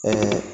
Ɛɛ